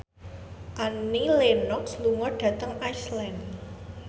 Annie Lenox lunga dhateng Iceland